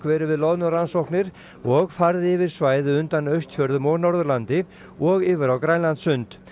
verið við loðnurannsóknir og farið yfir svæði undan Austfjörðum og Norðurlandi og yfir á Grænlandssund